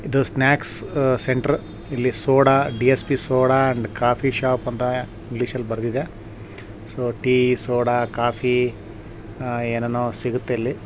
ಇದು snack center ಇಲ್ಲಿ soda ಡಿಯೆಸ್ಪಿ ಸೂಡಾ ಅಂಡ್ ಕಾಫೀ ಶಾಪ್ ಅಂತಃ ಇಂಗ್ಲೀಷ್ ಅಲ್ಲ ಬರ್ದಿದೆ. ಸೊ ಟೀ ಕಾಫಿ ಸೋಡಾ ಏನೇನೊ ಸಿಗುತ್ತೆ ಇಲ್ಲಿ.